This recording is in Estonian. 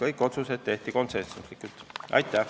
Aitäh!